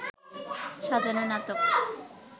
সাজানো নাটক